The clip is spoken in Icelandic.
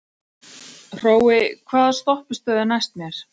Hrói, hvaða stoppistöð er næst mér?